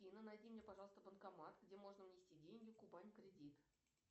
афина найди мне пожалуйста банкомат где можно внести деньги кубань кредит